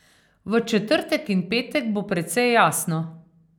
V četrtek in petek bo precej jasno.